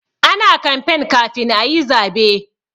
Ana kamfen kafin ayi zabe.